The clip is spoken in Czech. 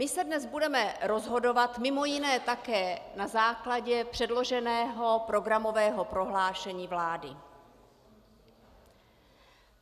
My se dnes budeme rozhodovat mimo jiné také na základě předloženého programového prohlášení vlády.